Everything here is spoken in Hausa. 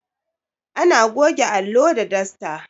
Ana goge allo da dasta